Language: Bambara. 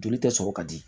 Joli tɛ sɔrɔ ka di